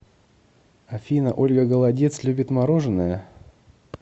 афина ольга голодец любит мороженое